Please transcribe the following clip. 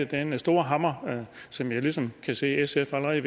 denne store hammer som jeg ligesom kan se sf allerede